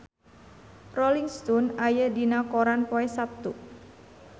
Rolling Stone aya dina koran poe Saptu